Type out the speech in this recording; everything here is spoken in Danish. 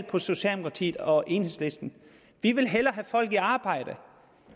på socialdemokratiet og enhedslisten vi vil hellere have folk i arbejde